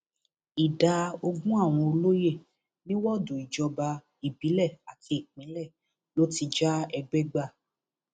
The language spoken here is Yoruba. ìdá ogún àwọn olóyè ní wọọdù ìjọba ìbílẹ àti ìpínlẹ ló ti já ẹgbẹ gbà